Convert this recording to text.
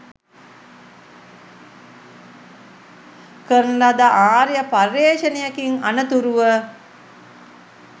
කරන ලද ආර්ය පර්යේෂණයකින් අනතුරුව